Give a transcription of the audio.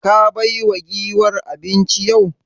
Ka baiwa giwar abinci yau?